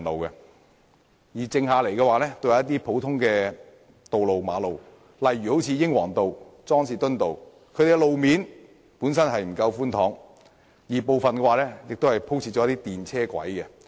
他們只能使用一些普通的道路或馬路如英皇道和莊士敦道，路面本身不夠寬闊，而部分道路更已鋪設電車軌。